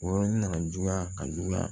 O yɔrɔnin nana juguya ka juguya